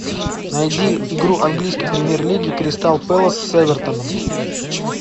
найди игру английской премьер лиги кристал пэлас с эвертоном